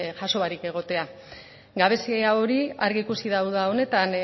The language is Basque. jaso barik egotea gabezia hori argi ikusi da uda honetan